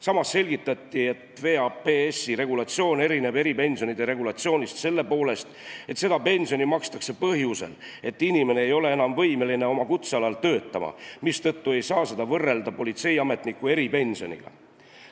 Samas selgitati, et VAPS-i regulatsioon erineb eripensionide regulatsioonist selle poolest, et seda pensioni makstakse põhjusel, et inimene ei ole enam võimeline oma kutsealal töötama, mistõttu ei saa seda võrrelda politseiametniku eripensioniga.